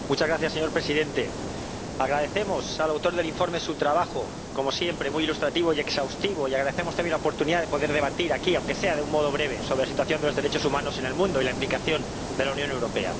Señor Presidente, agradecemos al autor del informe su trabajo ―como siempre muy ilustrativo y exhaustivo― y agradecemos también la oportunidad de poder debatir aquí, aunque sea de un modo breve, sobre la situación de los derechos humanos en el mundo y la implicación de la Unión Europea.